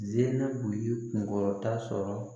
Zenabu ye kunkɔrɔta sɔrɔ